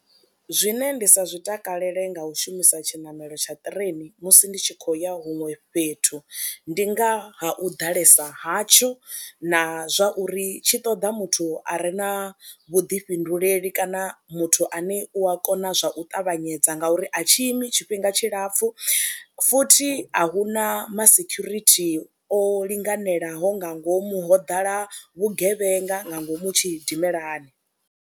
Zwine nda si zwi takalele nga u shumisa tshiṋamelo tsha ṱireni musi ndi tshi khou ya huṅwe fhethu ndi nga ha u ḓalesa hatsho na zwa uri tshi ṱoda muthu a re na vhuḓifhinduleli kana muthu ane u a kona zwa u ṱavhanyedza ngauri a tshi imi tshifhinga tshilapfhu, futhi a hu na masekhurithi o linganelaho nga ngomu, ho ḓala vhugevhenga nga ngomu tshidimelani.